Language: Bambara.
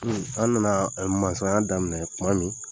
an nana mansaya daminɛ tuma min